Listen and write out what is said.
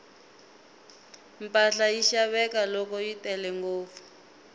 mpahla yi xaveka loko yi tele ngopfu